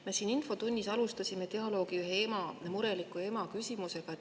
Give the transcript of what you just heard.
Me siin infotunnis alustasime dialoogi ühe mureliku ema küsimusega.